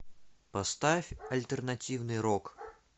поставь альтернативный рок